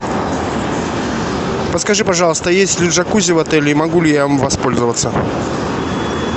подскажи пожалуйста есть ли джакузи в отеле и могу ли я им воспользоваться